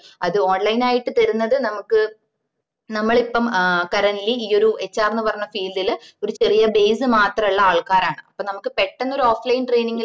അത് online ആയിട്ട് തരുന്നത് നമുക്ക് നമ്മള് ഇപ്പം currently ഈ ഒരു HR ന്ന പറഞ്ഞ field ല് ഒരു ചെറിയ base മാത്രാള്ള ആൾക്കാരാണ് അപ്പൊ നമക്ക് പെട്ടന്ന് ഒര് offline training ല്